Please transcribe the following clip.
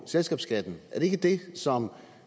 selskabsskatten er det ikke det som